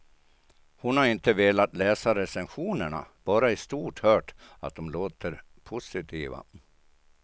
Hon har inte velat läsa recensionerna, bara i stort hört att de låter positiva.